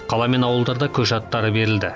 қала мен ауылдарда көше аттары берілді